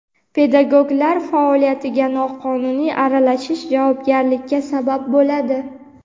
Pedagoglar faoliyatiga noqonuniy aralashish javobgarlikka sabab bo‘ladi.